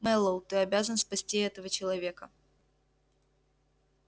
мэллоу ты обязан спасти этого человека